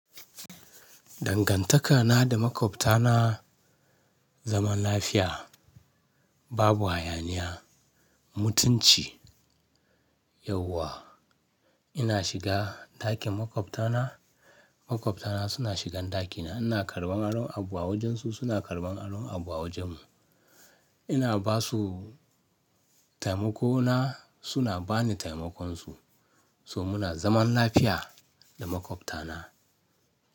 Dangantaka na da maƙwabtana zaman lafiya. Babu hayaniya, mutunci, yauwa. Ina shiga ɗakin maƙwabtana, maƙwabtana suna shigan ɗakina. Ina karɓan aron abu a wajensu, suna karɓan aron abu a wajenmu. Ina basu taimakona, suna bani taimakon su, so muna zaman lafiya da maƙwabtana.